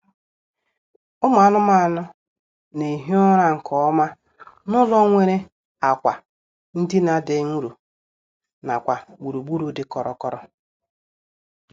Ụmụ anụmanụ na-ehi ụra nkeọma n'ụlọ nwere akwa ndina dị nro nakwa gburugburu dị kọrọ kọrọ